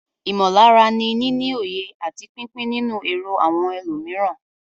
Ìmọ̀lára ni níní òye àti pípín nínú èrò àwọn ẹlòmíràn.